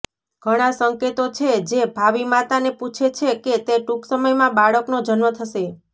ઘણા સંકેતો છે જે ભાવિ માતાને પૂછે છે કે તે ટૂંક સમયમાં બાળકનો જન્મ થશે